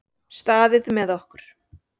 Staðið með okkur